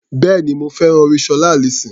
Bẹ́ẹ̀ni, mo fẹ́ràn orin Ṣọlá Allyson.